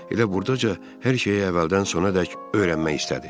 O elə burdaca hər şeyi əvvəldən sonadək öyrənmək istədi.